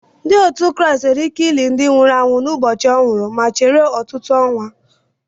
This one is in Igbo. Ndị otu Kraịst nwere ike lie ndị nwụrụ anwụ n'ụbọchị o nwuru ma chere ọtụtụ ọnwa